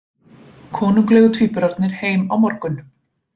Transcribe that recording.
Konunglegu tvíburarnir heim á morgun